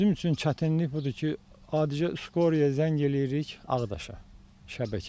Bizim üçün çətinlik budur ki, adicə skora zəng eləyirik Ağdaşa, şəbəkəyə.